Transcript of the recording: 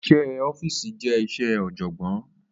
Iṣẹ́ ẹ ọ́fíìsì je iṣẹ ọ̀jọ̀gbọ́n